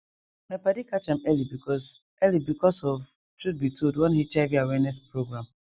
my padi catch am early because early because of truth be told one hiv awareness program